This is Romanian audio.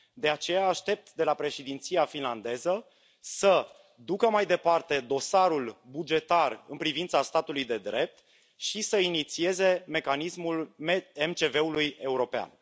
De aceea, aștept de la președinția finlandeză să ducă mai departe dosarul bugetar în privința statului de drept și să inițieze mecanismul MCV ului european.